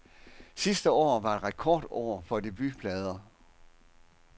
Sidste år var et rekordår for debutplader.